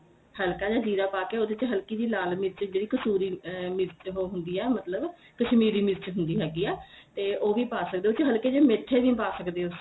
ਹਲਕਾ ਜਾ ਜੀਰਾ ਪਾ ਕੇ ਉਹਦੇ ਚ ਹਲਕੀ ਜੀ ਲਾਲ ਮਿਰਚ ਜਿਹੜੀ ਕਸੂਰੀ ਮਿਰਚ ਉਹ ਹੁੰਦੀ ਏ ਮਤਲਬ ਕਸ਼ਮੀਰੀ ਮਿਰਚ ਹੁੰਦੀ ਹੈਗੀ ਏ ਤੇ ਉਹ ਵੀ ਪਾ ਸਕਦੇ ਓ ਉਸ ਚ ਹਲਕੇ ਜੇ ਮੀਰਚਾ ਵੀ ਪਾ ਸਕਦੇ ਓ